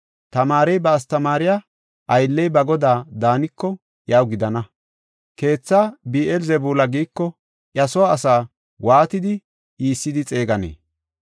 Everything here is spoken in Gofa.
Tamaarey ba astamaariya, aylley ba godaa daaniko iyaw gidana. Keetha goda Bi7eel-Zebuula giiko iya soo asaa waatidi iissidi xeegenee?